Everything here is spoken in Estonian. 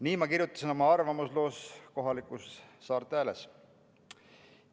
Nii ma kirjutasin oma arvamusloos Saarte Hääles.